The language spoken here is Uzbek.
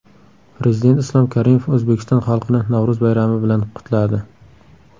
Prezident Islom Karimov O‘zbekiston xalqini Navro‘z bayrami bilan qutladi.